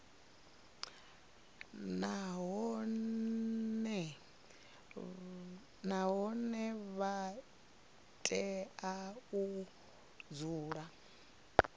nahone vha tea u dzula